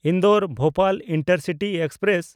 Indore-Bhopal intercity express